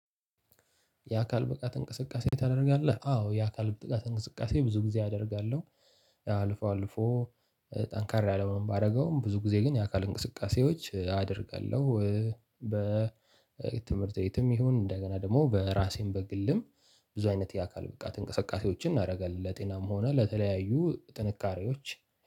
የአካል ብቃት እንቅስቃሴ ታደርጋለህ? አዎ የአካል ብቃት እንቅስቃሴ ብዙ ጊዜ አደርጋለሁ። አልፎ አልፎ። ጠንካራ ለመሆን ባረገውም ብዙ ጊዜ ግን የአካል እንቅስቃሴዎች አደርጋለሁ። በትምህርት ቤትም ይሁን እንደገና ደግሞ በራሴም በግልም ብዙ አይነት የአካል ብቃት እንቅስቃሴዎችን እናረጋለን ለጤናም ሆነ ለተለያዩ ጥንካሬዎች